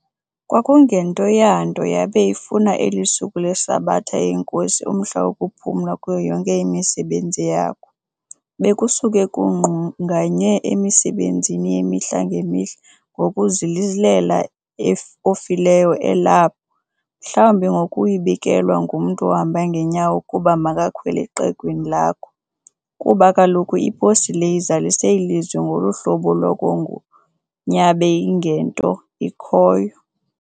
kwakungento yanto yabe ifuna elisuku leSabatha yeNKosi umhla wokuphumla kuyo yonke imisebenzi yakho. Bekusuke kungqunganye emisebenzini yemihla nge mihla ngokuzilela ofileyo elapho, mhlawumbi ngokuyibikelwa ngumntu ohamba ngenyawo ukuba makakhwele qegwini lakho ,kuba kaloku iposi le izalise ilizwi ngoluhlobo lwangokun yabe ingento ikhoyo.